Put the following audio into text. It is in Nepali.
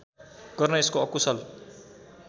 गर्न यसको अकुशल